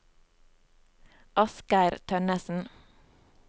Asgeir Tønnessen